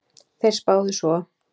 Þeir spáðu svo